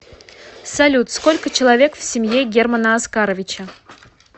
салют сколько человек в семье германа оскаровича